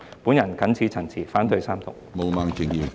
我謹此陳辭，反對三讀。